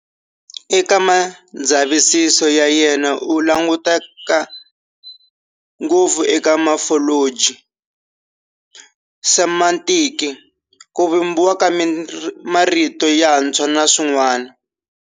Eka mindzavisiso ya yena u languta ngopfu eka mofoloji, semantiki, ku vumbiwa ka marito yantshwa na swin'wani.